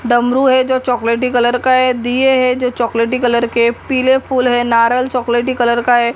डमरू है जो चॉकलेटी कलर का है दीए है जो चॉकलेटी कलर के पीले फूल है नारियल चॉकलेटी कलर का है।